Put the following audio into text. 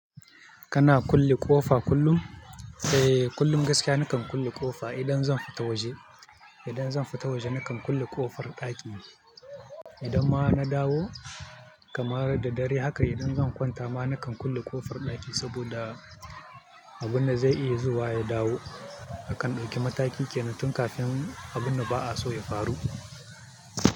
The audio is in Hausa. Kana kulle ƙofa kullum? Eh, kullum gaskiya nakan kulle ƙofa idan zan fita waje. Idan zan fita waje nakan kulle ƙofar ɗaki. Idan ma na dawo, kamar da dare haka idan zan kwanta ma nakan kulle ƙofar ɗaki saboda abin da zai iya zuwa ya dawo a kan ɗakin matakin kenan tun kafin abin da ba'a so ya faru.